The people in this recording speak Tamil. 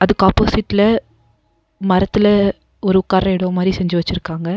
அதுக்கு ஆப்போசிட்ல மரத்துல ஒரு உக்கார்ற எடோ மாரி செஞ்சு வச்சிருக்காங்க.